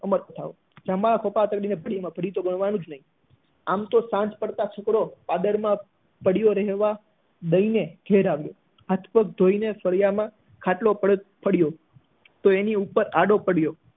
આમ તો સાંજ પછી છોકરો ભૂખ્યા ઘરે આવ્યો હાથ પગ ધોઈ ફળિયા માં ખાટલો પડ્યો તો એની ઉપર આડો પડ્યો